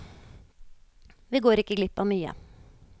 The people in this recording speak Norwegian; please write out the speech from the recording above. Vi går ikke glipp av mye.